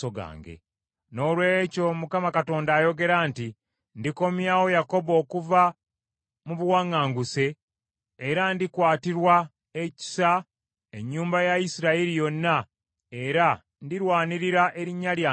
“Noolwekyo Mukama Katonda ayogera nti, Ndikomyawo Yakobo okuva mu buwaŋŋanguse, era ndikwatirwa ekisa ennyumba ya Isirayiri yonna, era ndirwanirira erinnya lyange ettukuvu.